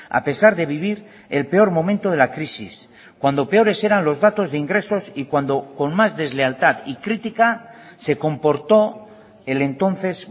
a pesar de vivir el peor momento de la crisis cuando peores eran los datos de ingresos y cuando con más deslealtad y crítica se comportó el entonces